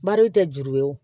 Bari tɛ juru ye o